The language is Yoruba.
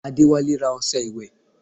Adéwálé ra ọṣẹ ìwẹ̀